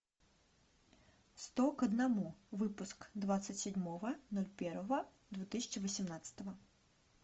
сто к одному выпуск двадцать седьмого ноль первого две тысячи восемнадцатого